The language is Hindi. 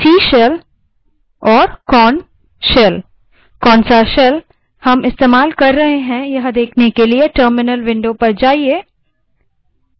दूसरे shells हैं bourne shell sh जो कि मौलिक unix shells है c shell csh और korn shell ksh